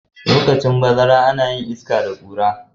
lokacin harmattan ana iska da Kura